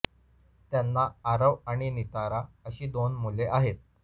त्यांना आरव आणि नितारा अशी दोन मुले आहेत